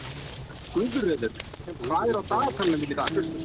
Guðröður, hvað er á dagatalinu mínu í dag?